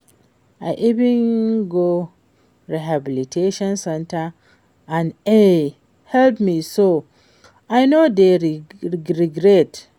I even go rehabilitation center and e help me so I no dey regret